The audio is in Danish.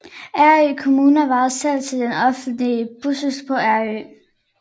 Ærø Kommune varetager selv den offentlige buskørsel på Ærø